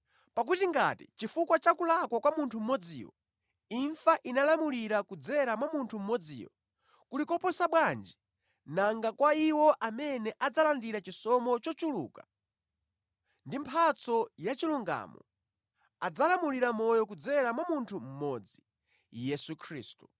Pakuti ngati, chifukwa cha kulakwa kwa munthu mmodziyo, imfa inalamulira kudzera mwa munthu mmodziyo, kuli koposa bwanji nanga kwa iwo amene adzalandira chisomo chochuluka ndi mphatso yachilungamo, adzalamulira mʼmoyo kudzera mwa munthu mmodzi, Yesu Khristu.